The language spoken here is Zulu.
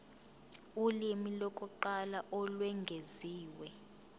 ulimi lokuqala olwengeziwe